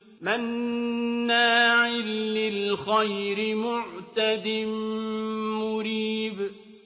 مَّنَّاعٍ لِّلْخَيْرِ مُعْتَدٍ مُّرِيبٍ